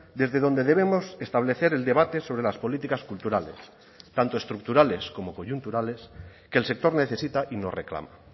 desde donde debemos establecer el debate sobre las políticas culturales tanto estructurales como coyunturales que el sector necesita y nos reclama